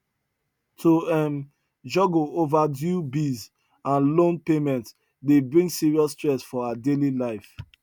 to um juggle overdue bills and loan payment dey bring serious stress for her daily life